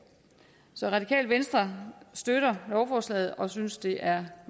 så det radikale venstre støtter lovforslaget og synes det er